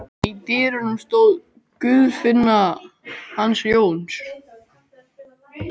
Í dyrunum stóð Guðfinna hans Jóns.